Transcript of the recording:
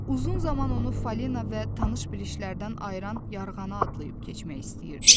Uzun zaman onu Falina və tanış bilişlərdən ayıran yarğanı adlayıb keçmək istəyirdi.